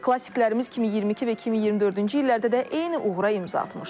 Klassiklərimiz kimi 22 və 2024-cü illərdə də eyni uğura imza atmışdı.